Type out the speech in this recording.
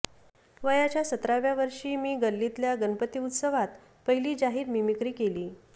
वयाच्या सतराव्या वर्षी मी गल्लीतल्या गणपती उत्सवात पहिली जाहीर मिमिक्री केली